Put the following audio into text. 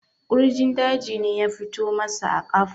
kurjin daji ne ya fito masa a kafa